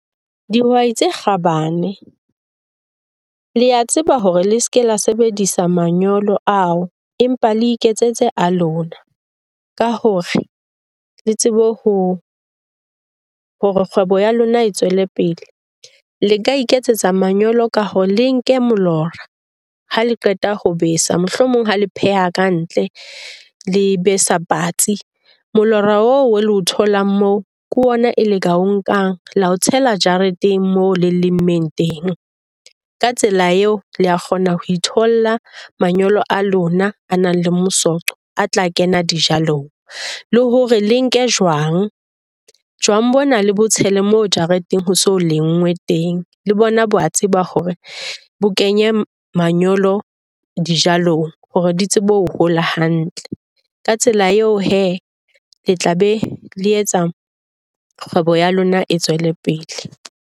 Dihwai tse kgabane, le a tseba hore le se ke la sebedisa manyolo ao, empa le iketsetse a lona ka hore le tsebe ho, hore kgwebo ya lona e tswele pele. Le ka iketsetsa manyolo ka hore le nke molora ha le qeta ho besa. Mohlomong ha le pheha kantle, le besa patsi. Molora oo le o tholang moo ke ona eo le ka o nkang la o tshela jareteng moo le lemmeng teng. Ka tsela eo le a kgona ho itholla manyolo a lona a nang le , a tla kena dijalong. Le hore le nke jwang, jwang bona le bo tshele moo jareteng ho so lenngwe teng. Le bona ba tseba hore bo kenye manyolo dijalong hore di tsebe ho hola hantle. Ka tsela eo hee, le tla be le etsa kgwebo ya lona e tswele pele.